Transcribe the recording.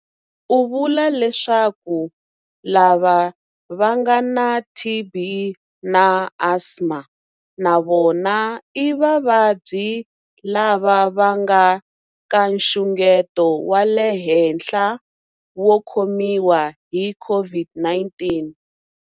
U vula leswaku lava va nga na TB na asma na vona i vavabyi lava va nga ka nxungeto wa le henhla wo khomiwa hi COVID-19.